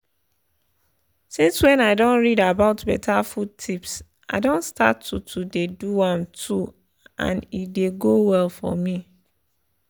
since when i don read about better food tips i don start to to dey do am too and e dey go well for me